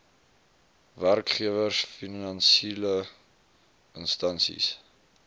werkgewers finansiele instansies